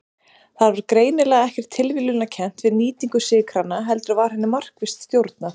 Það var greinilega ekkert tilviljunarkennt við nýtingu sykranna heldur var henni markvisst stjórnað.